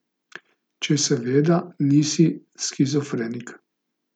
Če seveda nisi shizofrenik.